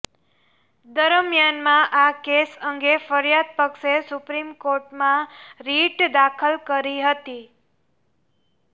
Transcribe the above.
દરમ્યાનમાં આ કેસ અંગે ફરિયાદ પક્ષે સુપ્રીમકોર્ટમાં રીટ દાખલ કરી હતી